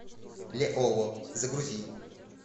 леоло загрузи